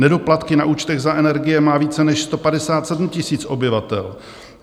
Nedoplatky na účtech za energie má více než 157 000 obyvatel.